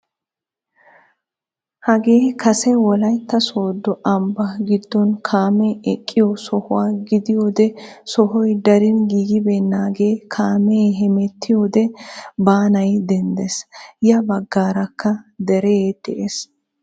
Hagee kase wollaytta sooddo ambbaa giddon kaamee eqqiyoo sohuwaa gidiyoode sohoy darin giigibenagee kaamee hemettiyoode baanay denddees. ya baggaarakka deree dees.